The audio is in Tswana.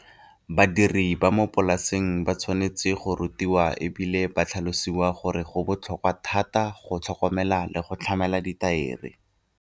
Badiri ba mo polaseng ba tshwanetse go rutiwa e bile ba tlhalosiwa gore go botlhokwa thata go tlhokomela le go tlamela dithaere.